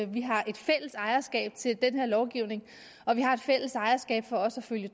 vi har et fælles ejerskab til den her lovgivning og vi har et fælles ejerskab til også at følge